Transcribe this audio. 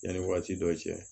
Yanni wagati dɔ cɛ